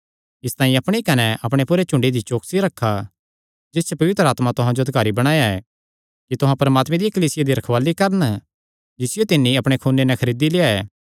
इसतांई अपणी कने अपणे पूरे झुंडे दी चौकसी रखा जिस च पवित्र आत्मा तुहां जो अधिकारी बणाया ऐ कि तुहां परमात्मे दिया कलीसिया दी रखवाल़ी करन जिसियो तिन्नी अपणे खूने नैं खरीदी लेआ ऐ